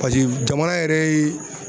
paseke jamana yɛrɛ ye